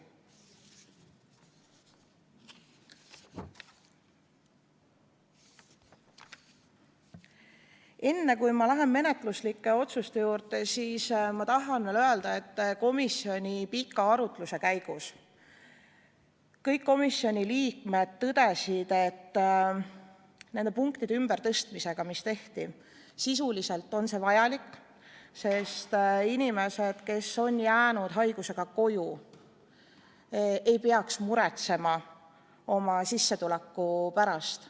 Enne kui ma lähen menetluslike otsuste juurde, tahan ma veel öelda, et komisjoni pika arutluse käigus kõik komisjoni liikmed tõdesid, et nende punktide ümbertõstmine on sisuliselt vajalik, sest inimesed, kes on jäänud haiguse tõttu koju, ei peaks muretsema oma sissetuleku pärast.